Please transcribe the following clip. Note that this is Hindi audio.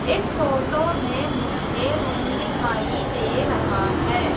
इस फोटो में मुझे रूम दिखाई दे रहा हैं।